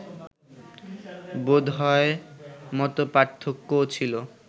বোধহয় মতপার্থক্যও ছিল